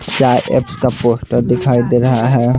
चाय एप्स का पोस्टर दिखाई दे रहा है।